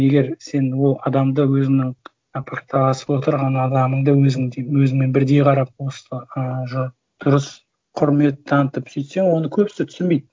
егер сен ол адамды өзіңнің пікірталасып отырған адамыңды өзіңдей өзіңмен бірдей қарап осы ы дұрыс құрмет танытып сөйтсең оны көбісі түсінбейді